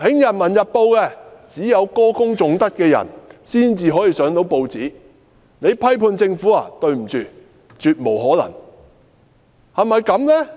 《人民日報》只有歌功頌德的人出現，批判政府的人絕無可能出現。